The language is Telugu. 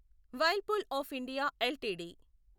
Whirlpool of India LTD